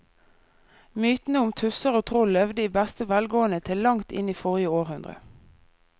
Mytene om tusser og troll levde i beste velgående til langt inn i forrige århundre.